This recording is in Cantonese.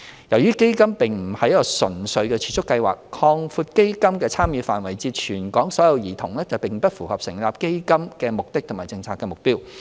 由於基金並不是一個純粹的儲蓄計劃，擴闊基金的參與範圍至全港所有兒童並不符合成立基金的目的及政策目標。